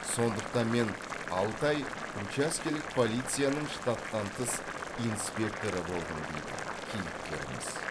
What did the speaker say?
сондықтан мен алты ай учаскелік полицияның штаттан тыс инспекторы болдым дейді кейіпкеріміз